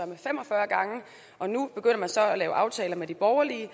var fem og fyrre gange og nu begynder man så at lave aftaler med de borgerlige